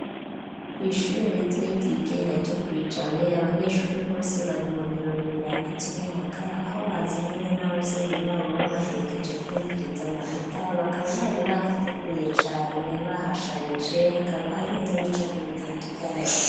Kw'ishure ritoyi, ryigenga, ryo kw'i Jabe, abanyeshure bose, bari mu birori, birangiza umwaka; aho bazananye n'abavyeyi babo, babaherekeje, kwumviriza amanota; bakaba bari, bahateguye cane, bahasharije; hakaba hariho n'ibicapo, bitandukanye.